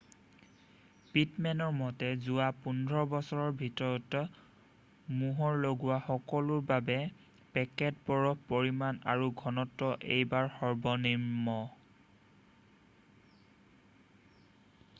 পিটমেনৰ মতে যোৱা 15 বছৰৰ ভিতৰত মোহৰ লগোৱা সকলৰ বাবে পেকেট বৰফৰ পৰিমাণ আৰু ঘনত্ব এইবাৰ সৰ্বনিম্ন